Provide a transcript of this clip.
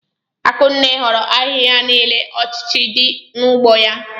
Akụnne horo ahịhịa nile ọchịghị di n'ugbo ya.